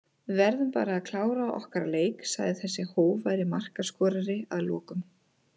Við verðum bara að klára okkar leiki sagði þessi hógværi markaskorari að lokum.